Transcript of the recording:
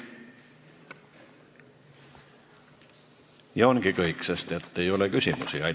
Ja ongi kõik, sest küsimusi ei ole.